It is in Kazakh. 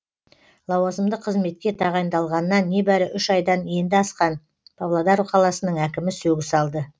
лауазымды қызметке тағайындалғанына небәрі үш айдан енді асқан павлодар қаласының әкімі сөгіс алды